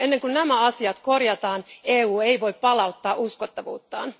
Ennen kuin nämä asiat korjataan, EU ei voi palauttaa uskottavuuttaan.